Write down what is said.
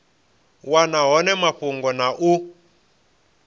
wana hone mafhungo na u